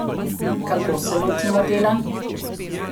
Kako se lotimo dela?